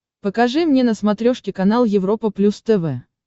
покажи мне на смотрешке канал европа плюс тв